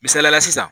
Misaliyala sisan